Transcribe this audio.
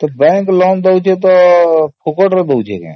bank loan ଦେଉଛି ତ ଫୋକଟ୍ ରେ କଣ ଦେଉଛି କି ?